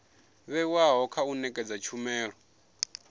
vhewaho kha u nekedza tshumelo